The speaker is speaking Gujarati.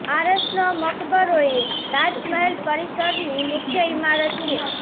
આરસનો મકબરો એ તાજ મહેલ પરિસરની મુખ્ય ઈમારત છે